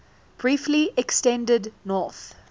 briefly extended north